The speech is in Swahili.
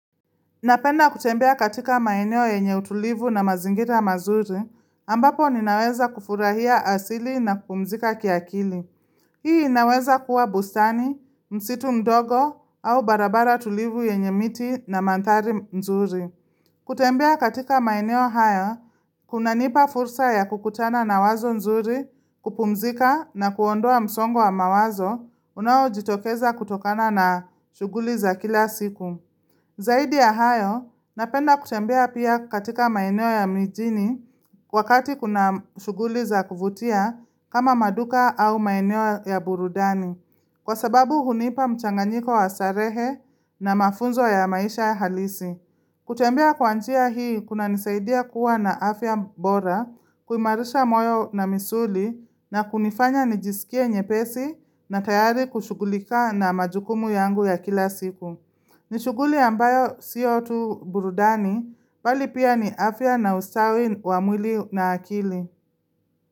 Napenda kutembea katika maeneo yenye utulivu na mazingira mazuri, ambapo ninaweza kufurahia asili na kupumzika kiakili. Hii inaweza kuwa bustani, msitu ndogo au barabara tulivu yenye miti na mandhari mzuri. Kutembea katika maeneo haya, kunanipa fursa ya kukutana na wazo mzuri, kupumzika na kuondoa msongo wa mawazo, unaojitokeza kutokana na shughuli za kila siku. Zaidi ya hayo, napenda kutembea pia katika maeneo ya mijini wakati kuna shuguli za kuvutia kama maduka au maeneo ya burudani, kwa sababu hunipa mchanganyiko wa starehe na mafunzo ya maisha halisi. Kutembea kwa njia hii, kunanisaidia kuwa na afya bora, kuimarisha moyo na misuli na kunifanya nijisikie nyepesi na tayari kushugulika na majukumu yangu ya kila siku. Ni shuguli ambayo sio tu burudani bali pia ni afya na ustawi wa mwili na akili.